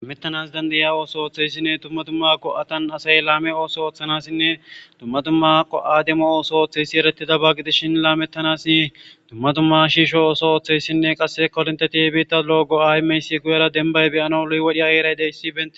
amettanas dandaya ooso ooththeyssinne tumma tumma ko7atan asay laame ooso ooththanassinne dumma dumma go7a demo ooso ooththeyssi erettida bagi dishin laamettanasi dumma dumma shiisho ooso ooththeyssinne qasse kolonteti i biitta loogo aymeysi guyera denbay beyana lu7wodhi ayeraydeyssibe